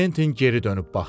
Kventin geri dönüb baxdı.